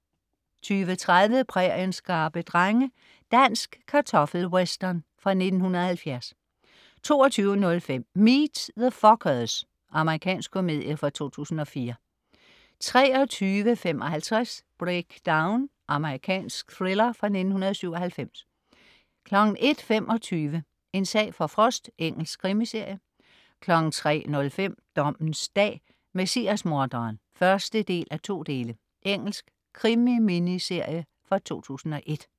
20.30 Præriens skrappe drenge. Dansk kartoffel-western fra 1970 22.05 Meet the Fockers. Amerikansk komedie fra 2004 23.55 Breakdown. Amerikansk thriller fra 1997 01.25 En sag for Frost. Engelsk krimiserie 03.05 Dommens dag: Messias-morderen (1:2). Engelsk krimi-miniserie fra 2001